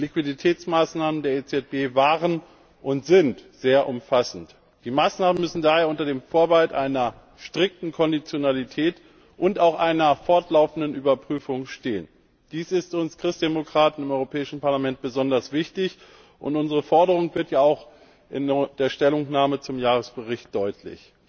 Die Liquiditätsmaßnahmen der EZB waren und sind sehr umfassend. Die Maßnahmen müssen daher unter dem Vorbehalt einer strikten Konditionalität und auch einer fortlaufenden Überprüfung stehen. Dies ist uns Christdemokraten im Europäischen Parlament besonders wichtig, und unsere Forderung wird ja auch in der Stellungnahme zum Jahresbericht deutlich.